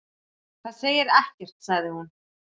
Það segir ekkert sagði hún.